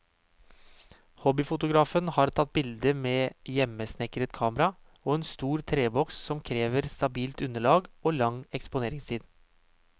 Hobbyfotografen har tatt bildet med hjemmesnekret kamera, en stor treboks som krever stabilt underlag og lang eksponeringstid.